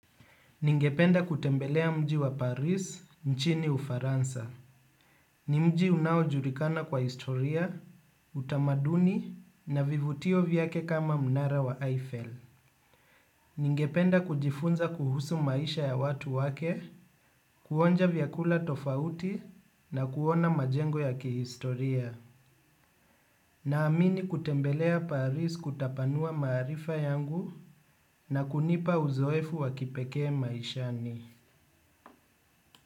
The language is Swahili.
Ningependa kutembelea mji wa Paris, nchini Ufaransa. Ni mji unaojulikana kwa historia, utamaduni na vivutio vyake kama mnara wa Eiffel. Ningependa kujifunza kuhusu maisha ya watu wake, kuonja vyakula tofauti na kuona majengo ya kihistoria. Naamini kutembelea Paris kutapanua maarifa yangu na kunipa uzoefu wa kipekee maishani.